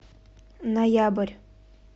ноябрь